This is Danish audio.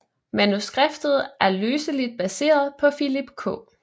Manuskriptet er løseligt baseret på Philip K